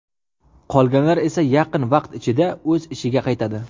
Qolganlar esa yaqin vaqt ichida o‘z ishiga qaytadi.